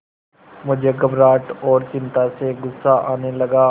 मुझे घबराहट और चिंता से गुस्सा आने लगा